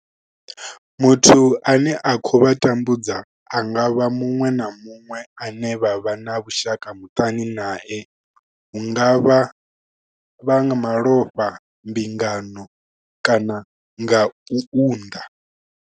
Muthu ane a khou vha tambudza a nga vha muṅwe na muṅwe ane vha vha na vhushaka muṱani nae, hu nga vha nga malofha, mbingano kana u unḓa.